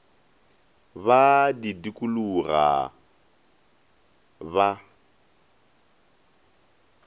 ba a di dukuloga ba